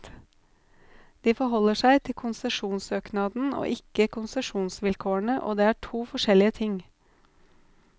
De forholder seg til konsesjonssøknaden og ikke konsesjonsvilkårene, og det er to forskjellige ting.